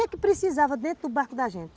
O que que precisava dentro do barco da gente?